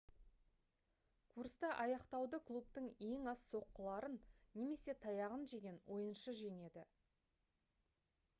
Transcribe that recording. курсты аяқтауды клубтың ең аз соққыларын немесе таяғын жеген ойыншы жеңеді